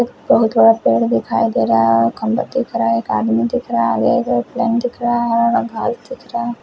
बहुत बड़ा पेड़ दिखाई दे रहा है खम्बे दिख रहे एक आदमी दिख रहा है --